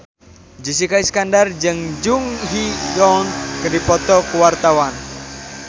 Jessica Iskandar jeung Jung Ji Hoon keur dipoto ku wartawan